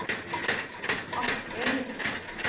Askøy